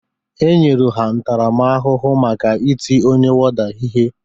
E nyere ha ntarama ahụhụ maka ịtị ọnye wọda ihe